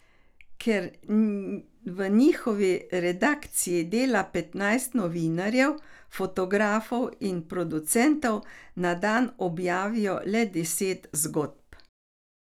Ker v njihovi redakciji dela petnajst novinarjev, fotografov in producentov, na dan objavijo le deset zgodb.